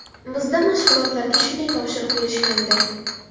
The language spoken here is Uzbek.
Bizda mashg‘ulotlarga shunday topshiriq berishgandi.